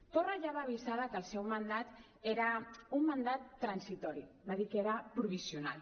torra ja va avisar de que el seu mandat era un mandat transitori va dir que era provisional